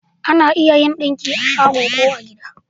Ana iya yin ɗinki a shago ko a gida